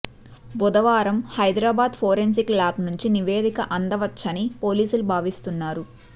బుధవారం Hyderabad forensic lab నుంచి నివేదిక అందవచ్చని పోలీసులు భావిస్తున్నారు